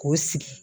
K'o sigi